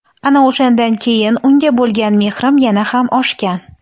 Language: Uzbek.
Ana o‘shandan keyin unga bo‘lgan mehrim yana ham oshgan.